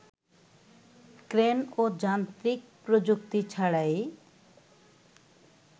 crane ও যান্ত্রিক প্রযুক্তি ছাড়াই